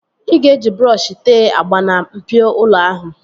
Ị ga-eji brọọshi tee agba na mpio ụlọ ahụ